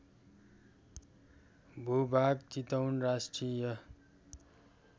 भूभाग चितवन राष्ट्रिय